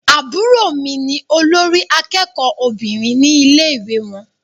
Àbúrò mí ní olórí àkẹ́kọ̀ọ Obìnrin ní ilé ìwé wọn.